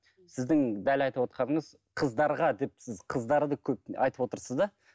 сіздің дәл айтывотқаныңыз қыздарға деп сіз қыздарды көп айтып отырсыз да